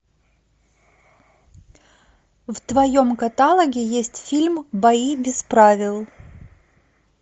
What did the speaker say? в твоем каталоге есть фильм бои без правил